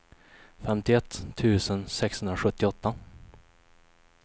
femtioett tusen sexhundrasjuttioåtta